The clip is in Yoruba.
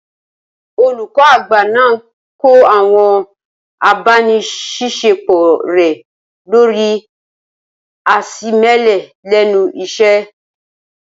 Olùkọ́ àgbà náà kọ́ àwọn abániṣiṣẹ́pọ̀ rẹ lórii àìṣemẹ́lẹ́ lẹ́nu iṣẹ́